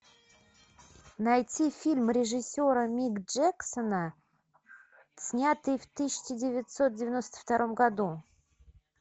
найти фильм режиссера мик джексона снятый в тысяча девятьсот девяносто втором году